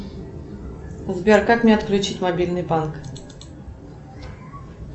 сбер как мне отключить мобильный банк